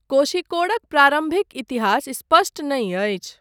कोष़िक्कोडक प्रारम्भिक इतिहास स्पष्ट नहि अछि।